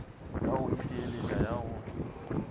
ya go itheeletša ya go